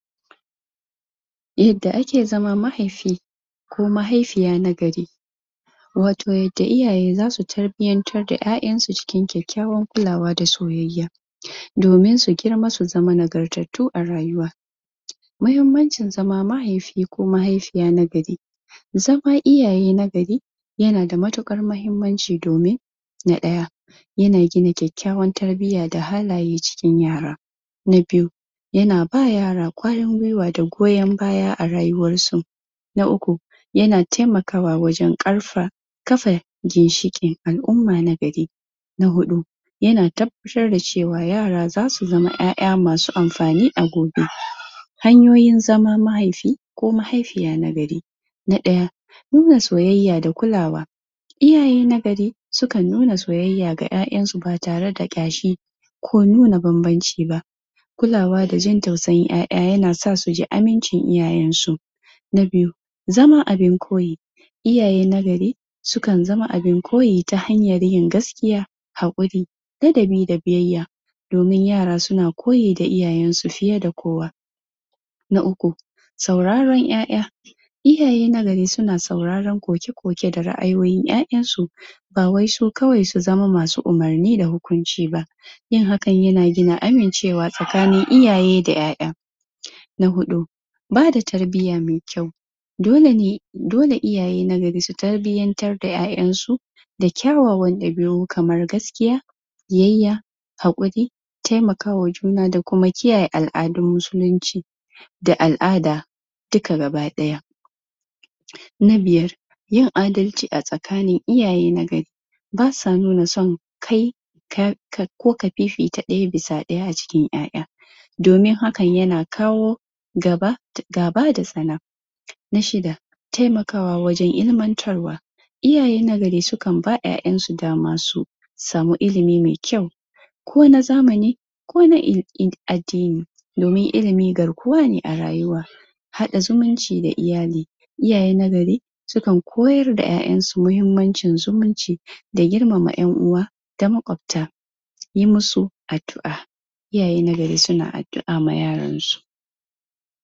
yadda a ke zama mahaifi ko mahaifiya na gari wato yadda iyaye zasu tarbiyartar da yayan su cikin kyakkywan kulawa da soyayya domin su girma su zama nagartattu a rayuwa mahimmacin zama mahaifi ko mahaifiya na gari zama iyaye na gari yanada matukan mahimmaci domin na daya yana gina kyakkyayan tarbiya da halaye cikin yara na biyu yana bawa raya kwarin guiwa da goyon baya da tarbiya a rayuwan su na uku yana taimakawa wajen karfa kafa ginshikin al'umma na gari na hudu yana tabbatar da cewa yara zasu zama yaya masu anfani a gobe hanyoyin zama mahaifi ko mahaifiya na gari na daya nuna soyayya da kulawa iyaye na gari sukan nuna soyaya ga yayan su ba tare da kyashi ko nuna banbanci ba kulawa da jin tausayin yaya yana sa su ji amincin iyayen su na biyu zama abin koyi iyaye na gari sukan zama abin koyi ta hanyan yin gaskiya hakuri ladabi da biyayya domin yara su na koyi da iyayen su fiye da kowa na uku sauraron yaya iyaye na gari suna sauraron koke-koke da raayoyin yayan su bawai su kawai su zama masu ummurni da hukunciba yin hakan yana gina gina amincewa tsakanin iyaye da yaya na hudu bada tarbiya mai kyau dolene dole iyaye na gari su, tarbiyartar da yayan su da kyawawan dabiu, kamar gaskiya biyayya hakuri taimakawa juna da kuma kiyaye aladun musulinci da alada duka baki daya na biyar yin adalci a tsakanin iyaye na gari basa nuna son kai ko ka fifita daya bisa daya a cikin dada domin hakan yana kawo gaba gaba da tsana na shida taimakawa wajen ilmantarwa iyaye na gari, sukan ba yayan su, dama su su samu ilimi mai kyau ko na zamani ko na ko na addini domin ilimi garkuwa ne a rayuwa hada zumunci da iyali iyaye na gari sukan koyar da yayan su, mahimmacin zumunci da girmama yan uwa da ma kwabta don yi musu adua iyaye na gari, suna addua ma, yaransu adua